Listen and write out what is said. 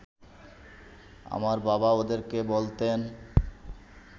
আমার বাবা ওদেরকে বলতেন